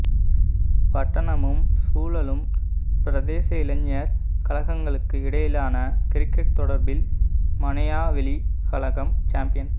பட்டணமும் சூழலும் பிரதேச இளைஞர் கழகங்களுக்கு இடையிலான கிரிக்கெட் தொடரில் மனையாவெளி கழகம் சம்பியன்